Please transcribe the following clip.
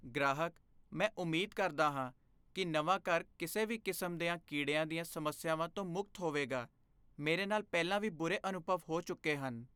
ਗ੍ਰਾਹਕ, "ਮੈਂ ਉਮੀਦ ਕਰਦਾ ਹਾਂ ਕੀ ਨਵਾਂ ਘਰ ਕਿਸੇ ਵੀ ਕਿਸਮ ਦੀਆਂ ਕੀੜਿਆਂ ਦੀਆਂ ਸਮੱਸਿਆਵਾਂ ਤੋਂ ਮੁਕਤ ਹੋਵੇਗਾ, ਮੇਰੇ ਨਾਲ ਪਹਿਲਾਂ ਵੀ ਬੁਰੇ ਅਨੁਭਵ ਹੋ ਚੁੱਕੇ ਹਨ"